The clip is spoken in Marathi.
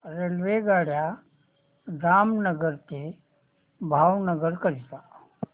रेल्वेगाड्या जामनगर ते भावनगर करीता